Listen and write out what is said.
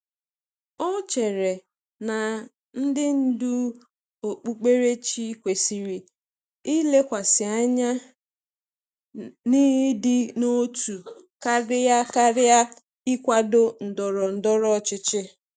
Ọ chere na ndị ndú okpukperechi kwesịrị ilekwasị anya n’ịdị n’otu karịa karịa ịkwado ndọrọ ndọrọ ọchịchị.